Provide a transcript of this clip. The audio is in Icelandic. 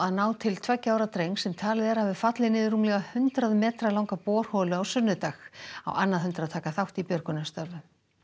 ná til tveggja ára drengs sem talið er að hafi fallið niður rúmlega hundrað metra langa borholu á sunnudag á annað hundrað taka þátt í björgunarstörfum